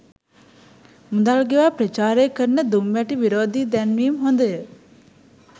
මුදල් ගෙවා ප්‍රචාරය කරන දුම්වැටි විරෝධී දැන්වීම් හොඳය.